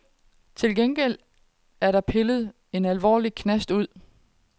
Til gengæld er der pillet en anden alvorlig knast ud.